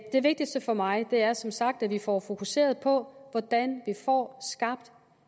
det vigtigste for mig er som sagt at vi får fokuseret på hvordan vi får skabt